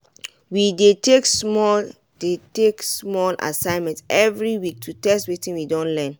we dey take small dey take small assignment every week to test wetin we don learn.